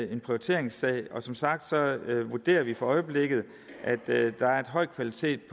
en prioriteringssag og som sagt vurderer vi for øjeblikket at der er høj kvalitet